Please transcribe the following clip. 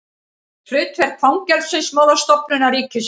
Hlutverk Fangelsismálastofnunar ríkisins.